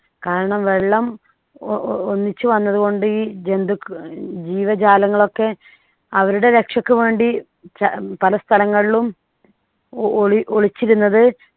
കാരണം വെള്ളം ഒ ഒന്നിച്ചു വന്നതുകൊണ്ട് ഈ ജന്തുക്ക ജീവജാലങ്ങൾ ഒക്കെ അവരുടെ രക്ഷയ്ക്ക് വേണ്ടി ചാ പല സ്ഥലങ്ങളിലും ഒ ഒളി ഒളിച്ചിരുന്നത്